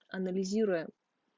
анализируя